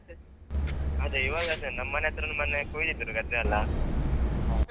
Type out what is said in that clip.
ಅದೇ ಈವಾಗ ಅದೇ ನಮ್ಮ ಹತ್ರದ ಮನೆ ಕೊಯಿದಿದ್ರು ಗದ್ದೆಯಲ್ಲ.